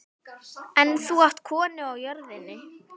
En þú átt konu á jörðinni.